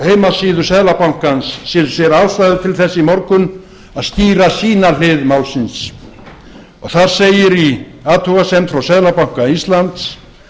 heimasíðu seðlabankans sem sér ástæðu til þess í morgun að skýra sína hlið málsins þar segir í athugasemd frá seðlabanka íslands